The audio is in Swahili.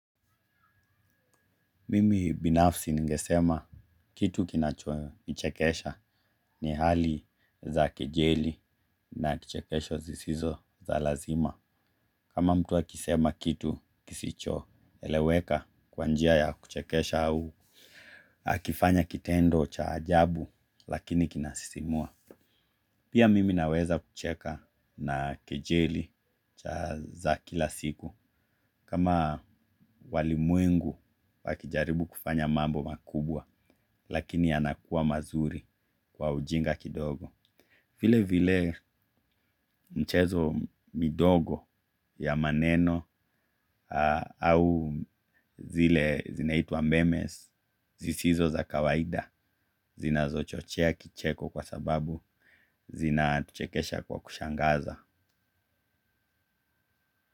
Mimi binafsi ningesema kitu kinachonichekesha ni hali za kejeli na kichekesho zisizo za lazima. Kama mtu akisema kitu kisicho eleweka kwa njia ya kuchekesha au, akifanya kitendo cha ajabu lakini kinasisimua. Pia mimi naweza kucheka na kejeli za kila siku. Kama walimwingu wakijaribu kufanya mambo makubwa, lakini yanakuwa mazuri kwa ujinga kidogo. Vile vile mchezo midogo ya maneno au zile zinaitwa memes, zisizo za kawaida, zinazo chochea kicheko kwa sababu zinatuchekesha kwa kushangaza.